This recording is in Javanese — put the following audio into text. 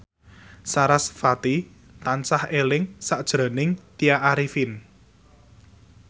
sarasvati tansah eling sakjroning Tya Arifin